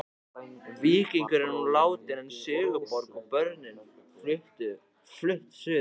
Víkingur er nú látinn en Sigurborg og börnin flutt suður.